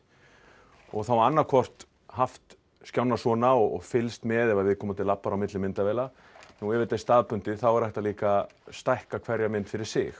og þá annað hvort haft svona og fylgst með ef viðkomandi labbar á milli myndavéla nú ef þetta er staðbundið er hægt að líka stækka hverja mynd fyrir sig